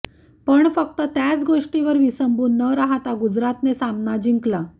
पण फक्त त्याच गोष्टीवर विसंबून न राहता गुजरातने सामना जिंकला